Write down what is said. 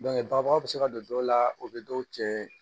babaga bɛ se ka don dɔw la u bɛ dɔw cɛ